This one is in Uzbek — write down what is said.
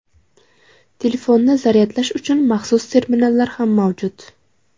Telefonni zaryadlash uchun maxsus terminallar ham mavjud.